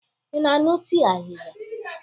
Ị na-aṅụ tii ahịhịa?